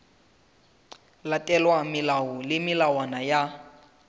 latelwa melao le melawana ya